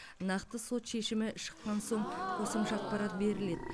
нақты сот шешімі шыққан соң қосымша ақпарат беріледі